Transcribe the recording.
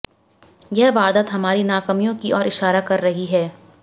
यह वारदात हमारी नाकामियों की ओर इशारा कर रही है